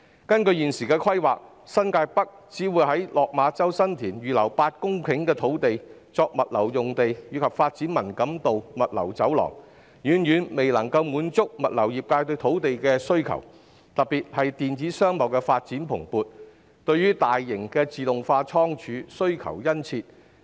根據現時的規劃，政府在新界北新田/落馬洲只會預留8公頃土地，用作物流用地及發展文錦渡物流走廊，這遠遠未能滿足物流業界對土地的需求，特別有鑒於電子商貿發展蓬勃，對大型自動化倉儲的需求日益殷切。